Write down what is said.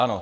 Ano.